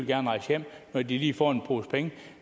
vil rejse hjem når de får en pose penge